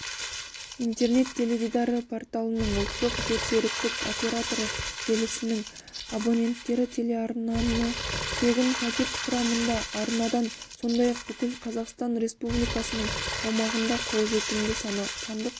интернет-теледидары порталының ұлттық жерсеріктік операторы желісінің абоненттері телеарнаны тегін пакет құрамында арнадан сондай-ақ бүкіл қазақстан республикасының аумағында қолжетімді сандық